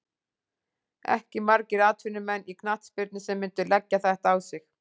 Ekki margir atvinnumenn í knattspyrnu sem myndu leggja þetta á sig.